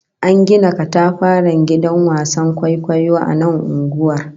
An gina katafaren gidan wasan kwaikwayo a nan unguwar